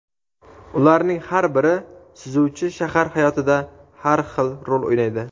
Ularning har biri suzuvchi shahar hayotida har xil rol o‘ynaydi.